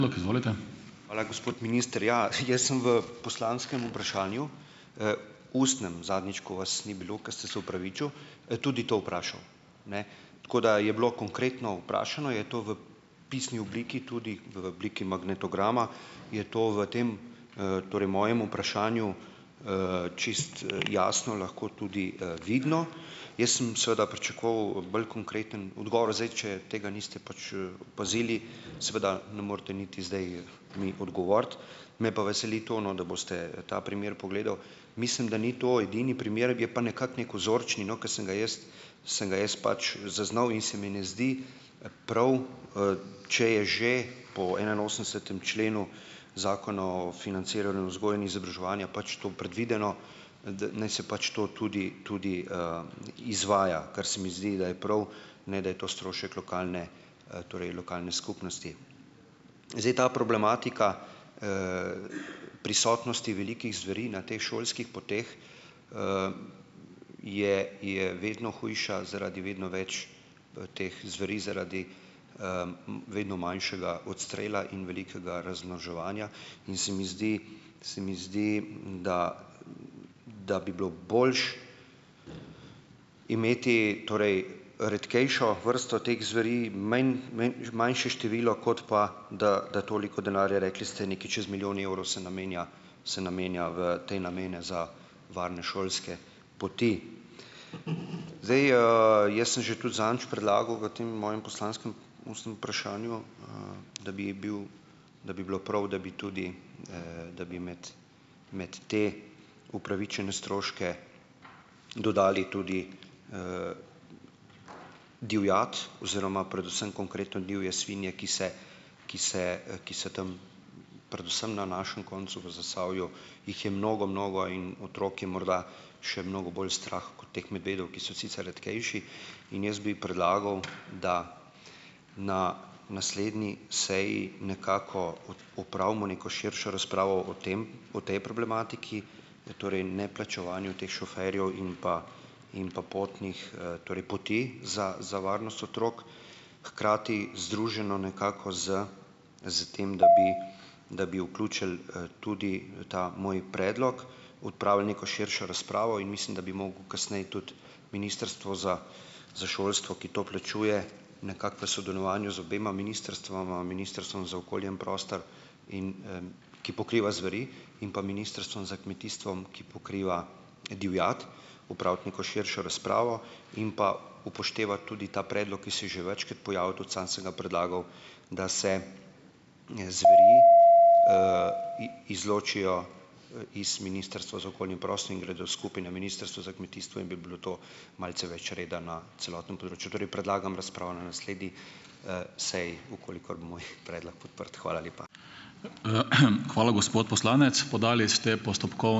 Hvala, gospod minister. Ja, jaz sem v poslanskem vprašanju, ustnem, zadnjič, ko vas ni bilo, ker ste se opravičil, tudi to vprašal. Tako da je bilo konkretno vprašano. Je to v pisni obliki, tudi v obliki magnetograma, je to v tem, torej mojem vprašanju, čisto jasno lahko tudi, vidno. Jaz sem seveda pričakoval bolj konkreten odgovor. Zdaj, če tega niste pač opazili, seveda ne morete niti zdaj mi odgovoriti. Me pa veseli to, no, da boste ta primer pogledal. Mislim, da ni to edini primer, je pa nekako neki vzorčni, no, ke sem ga jaz sem ga jaz pač zaznal, in se mi ne zdi prav, če je že po enainosemdesetem členu Zakona o financiranju vzgoje in izobraževanja pač to predvideno, da naj se pač to tudi tudi, izvaja, kar se mi zdi, da je prav, ne da je to strošek lokalne, torej lokalne skupnosti. Zdaj ta problematika prisotnosti velikih zveri na teh šolskih poteh je je vedno hujša zaradi vedno več teh zveri zaradi, vedno manjšega odstrela in velikega razmnoževanja. In se mi zdi, se mi zdi, da da bi bilo boljše imeti torej redkejšo vrsto teh zveri, manjše število, kot pa da da toliko denarja, rekli ste nekaj čez milijon evrov, se namenja se namenja v te namene za varne šolske poti. Zdaj, jaz sem že tudi zadnjič predlagal v tem mojem poslanskem ustnem vprašanju, da bi bil da bi bilo prav, da bi tudi, da bi med med te upravičene stroške dodali tudi divjad oziroma predvsem konkretno divje svinje, ki se ki se, ki se tam, predvsem na našem koncu v Zasavju jih je mnogo, mnogo in otrok je morda še mnogo bolj strah kot teh medvedov, ki so sicer redkejši. In jaz bi predlagal, da na naslednji seji nekako opravimo neko širšo razpravo o tem o tej problematiki, torej neplačevanju teh šoferjev in pa in pa potnih, torej poti za za varnost otrok, hkrati združeno nekako s s tem, da bi da bi vključili, tudi ta moj predlog, opravili neko širšo razpravo. In mislim, da bi moglo kasneje tudi Ministrstvo za za šolstvo, ki to plačuje, nekako v sodelovanju z obema ministrstvoma, Ministrstvom za okolje in prostor, in, ki pokriva zveri, in pa Ministrstvom za kmetijstvo, ki pokriva divjad, opraviti neko širšo razpravo in pa upoštevati tudi ta predlog, ki se je že večkrat pojavil, tudi sam sem ga predlagal, da se izločijo z Ministrstva za okolje in prostor in gredo skupaj na Ministrstvo za kmetijstvo in bi bilo to malce več reda na celotnem področju. Torej predlagam razpravo na naslednji, seji, v kolikor bo moj predlog podprt. Hvala lepa.